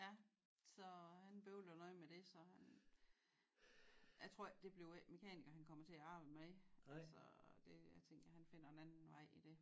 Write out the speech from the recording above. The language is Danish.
Ja så han bøvler noget med det så han jeg tror ikke det bliver ikke mekaniker han kommer til at arbejde med altså det a tænker han finder en anden vej i det